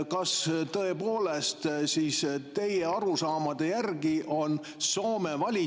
Kas tõepoolest siis teie arusaamade järgi on Soome valitsus …